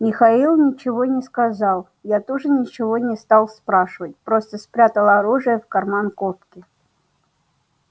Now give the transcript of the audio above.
михаил ничего не сказал я тоже ничего не стал спрашивать просто спрятал оружие в карман куртки